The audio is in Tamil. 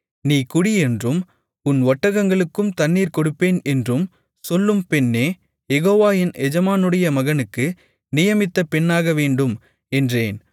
நீ குடி என்றும் உன் ஒட்டகங்களுக்கும் தண்ணீர் கொடுப்பேன் என்றும் சொல்லும் பெண்ணே யெகோவா என் எஜமானுடைய மகனுக்கு நியமித்த பெண்ணாகவேண்டும் என்றேன்